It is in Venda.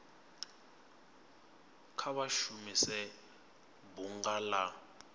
kha vha shumise bunga la